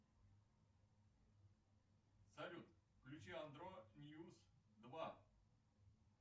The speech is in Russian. салют включи андро ньюз два